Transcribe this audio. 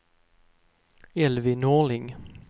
Elvy Norling